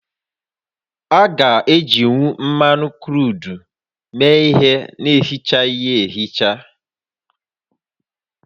A ga-ejinwu mmanụ kruudu méé ihé na-esichaghị ya esicha?